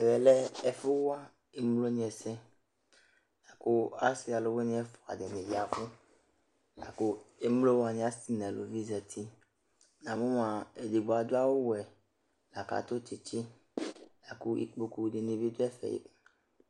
Ɛvɛ lɛ ɛfʋwa evidze wanɩ ɛsɛ, kʋ asɩ alʋwɩnɩ ɛfʋa dɩnɩ aya ɛvʋ Emlo wanɩ asɩ nʋ alʋvɩ azǝtɩ Edigbo adʋ awʋwɛ, lakʋ adʋ tsɩtsɩ, kʋ ikpoku dɩnɩ bɩdʋ ɛfɛ